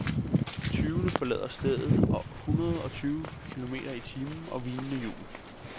Tyvene forlader stedet med hundrede og tyve kilometer i timen og hvinende hjul.